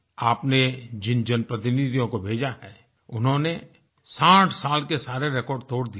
आपने जिन जनप्रतिनिधियों को भेजा है उन्होंने साठ साल के सारे रेकॉर्ड तोड़ दिये हैं